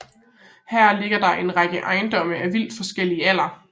Her ligger der en række etageejendomme af vidt forskellig alder